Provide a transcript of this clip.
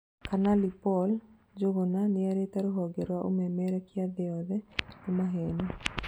Kanali Paul Njuguna nĩrĩte rũhonge rwa ũmemerekia thĩ yothe "nĩ maheni"